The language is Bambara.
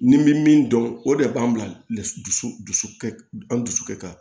Ni bɛ min dɔn o de b'an bila dusukɛ an dusu ka kan